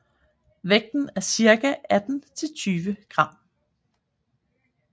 Vægten er cirka 18 til 20 gram